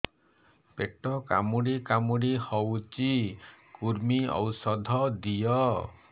ପେଟ କାମୁଡି କାମୁଡି ହଉଚି କୂର୍ମୀ ଔଷଧ ଦିଅ